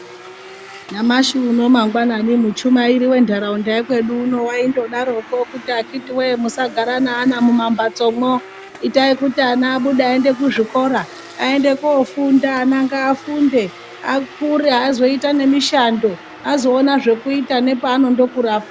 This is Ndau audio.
Nyamashi uno mangwanani muchumairi wentaraunda yekwedu uno waindodarokwo kuti akiti weee musagara neana mumamhatso mwo itai kuti ana abude aende kuzvikora aende kofunda ana ngaagunde akure azoita nemishando azoona zvekuiita nepaanondokurapo.